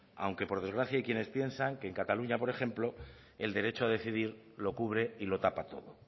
aunque por desgracia hay quienes piensan que cataluña por ejemplo el derecho a decidir lo cubre y lo tapa todo